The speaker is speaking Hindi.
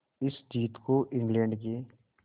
इस जीत को इंग्लैंड के